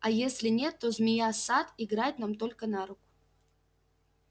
а если нет то змея сатт играет нам только на руку